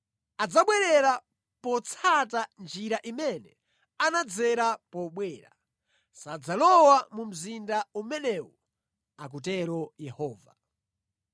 Adzabwerera potsata njira imene anadzera pobwera; sadzalowa mu mzinda umenewu, akutero Yehova.